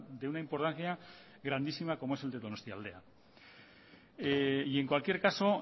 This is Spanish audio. de una importancia grandísima como es el de donostialdea y en cualquier caso